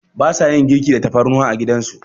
Ba sa yin girki da tafarnuwa a gidan su.